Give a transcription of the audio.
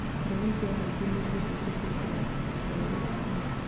Ndege cia mũingĩ nĩgirĩtio kũingĩra bũrũri ũcio